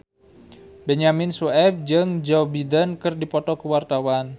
Benyamin Sueb jeung Joe Biden keur dipoto ku wartawan